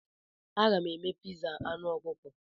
Aga m eme piza anụ ọkụkọ.